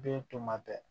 Den tun bɛ